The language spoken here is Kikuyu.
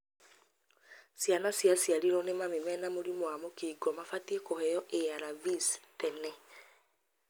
ciana ciaciarirwo nĩ mami mena mũrimu wa mũkingo mabatie kũheo ARVs tene.